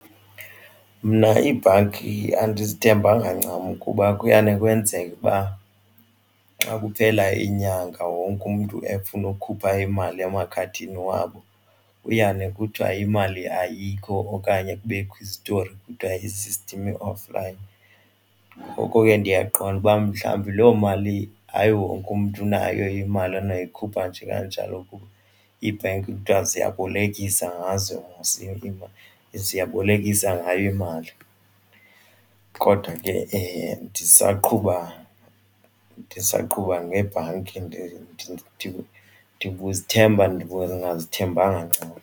Mna iibhanki andizithembanga ncam kuba kuyane kwenzeka ukuba xa kuphela inyanga wonke umntu efuna ukukhupha imali emakhadini wabo kuyane kuthiwe imali ayikho okanye kubekho izitori. Kuthiwa i-system i-offline ngoko ke ndiyaqonda ukuba mhlawumbi loo mali hayi wonke umntu unayo imali anoyikhupha nje kanjalo. Iibhenki kuthiwa ziyabolekisa ngazo ziyabolekisa ngayo imali kodwa ke ndisaqhub,a ndisawuqhuba ngebhanki ndithi ndibuzithemba ndingazithembanga ncam.